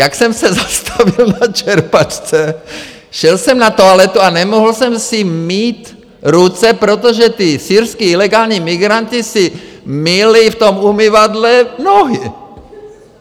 - jak jsem se zastavil na čerpačce, šel jsem na toaletu a nemohl jsem si mýt ruce, protože ti syrští ilegální migranti si myli v tom umyvadle nohy!